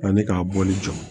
Ani k'a bɔli jɔ